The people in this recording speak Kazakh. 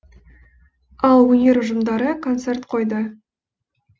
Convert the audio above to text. ал өнер ұжымдары концерт қойды